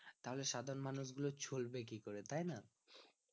তাহলে সাধারণ মানুষ গুলো চলবে কি করে তাই না